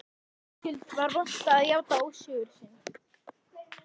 Vitaskuld var vont að játa ósigur sinn.